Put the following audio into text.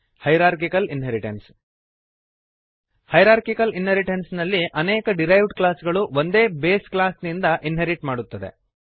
hierarchical inheritance hierarchical inheritance ನಲ್ಲಿ ಅನೇಕ derived class ಗಳು ಒಂದೇ ಬೇಸ್ ಕ್ಲಾಸ್ ನಿಂದ ಇನ್ಹೆರಿಟ್ ಮಾಡುತ್ತವೆ